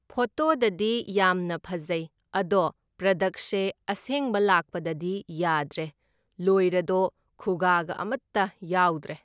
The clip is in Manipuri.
ꯐꯣꯇꯣꯗꯗꯤ ꯌꯥꯝꯅ ꯐꯖꯩ, ꯑꯗꯣ ꯄꯔꯗꯛꯁꯦ ꯑꯁꯦꯡꯕ ꯂꯥꯛꯄꯗꯗꯤ ꯌꯥꯗ꯭ꯔꯦ, ꯂꯣꯏꯔꯗꯣ ꯈꯨꯒꯥꯒ ꯑꯃꯇ ꯌꯥꯎꯗ꯭ꯔꯦ꯫